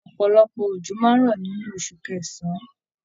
Ọpọlọpọ ojo máa n rọ nínú osù kẹsán.